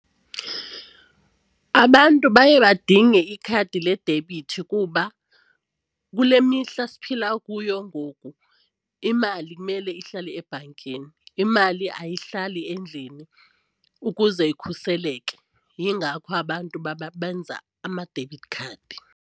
Abantu baye badinge ikhadi ledebithi kuba kule mihla siphila kuyo ngoku imali kumele ihlale ebhankini, imali ayihlali endlini ukuze ikhuseleke yingakho abantu babenze ama-debit card.